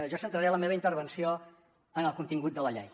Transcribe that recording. jo centraré la meva intervenció en el contingut de la llei